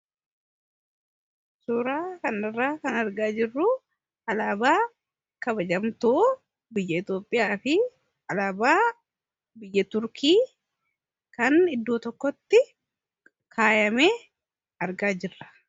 Suuraa kanarraa kan argaa jirru suuraa alaabaa kabajamtuu biyya Itoopiyaa fi alaabaa biyya Turkii kan iddoo tokkotti kaayame argaa jirra.